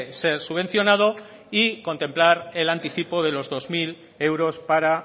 ser subvencionado y contemplar el anticipo de los dos mil euros para